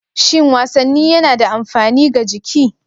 Shin wasanni yana da amfani ga jiki?